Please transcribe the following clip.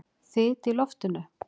Þyt í loftinu?